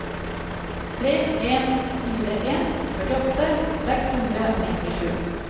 tre en fire en førtiåtte seks hundre og nittisju